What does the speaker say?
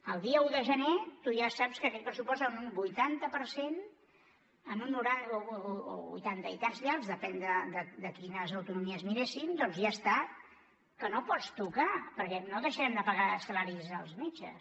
el dia un de gener tu ja saps que aquell pressupost en un vuitanta per cent o un vuitanta i tants llargs depèn de quines autonomies miréssim doncs ja està que no el pots tocar perquè no deixarem de pagar salaris als metges